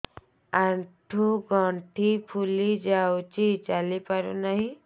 ଆଂଠୁ ଗଂଠି ଫୁଲି ଯାଉଛି ଚାଲି ପାରୁ ନାହିଁ